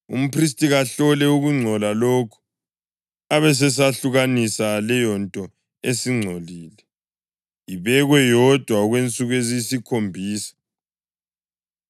Umphristi kahlole ukungcola lokhu abesesehlukanisa leyonto esingcolile, ibekwe yodwa okwensuku eziyisikhombisa.